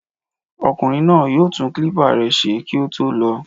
Ọkùnrin náà yóò tún kílípà rẹ̀ ṣe kí ó tó lò ó.